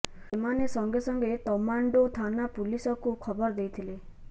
ସେମାନେ ସଙ୍ଗେ ସଙ୍ଗେ ତମାଣ୍ଡୋ ଥାନା ପୁଲିସକୁ ଖବର ଦେଇଥିଲେ